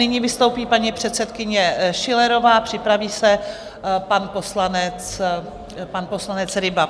Nyní vystoupí paní předsedkyně Schillerová, připraví se pan poslanec Ryba.